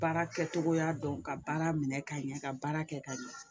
Baara kɛcogoya dɔn ka baara minɛ ka ɲɛ ka baara kɛ ka ɲɛ